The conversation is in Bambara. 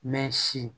Mɛ sin